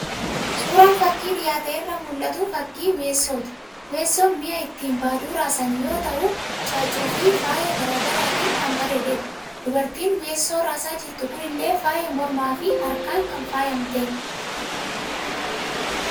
Suuraan fakkii dhiyaate irraa mul'atu, fakii Weessooti. Weessoon mi'a ittiin baaduu raasan yoo ta'u caaccuu fi faaya garaa garaatiin kan bareededha. Dubartiin Weessoo raasaa jirtu kunillee faaya mormaa fi harkaan kan faayamtedha.